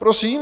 Prosím?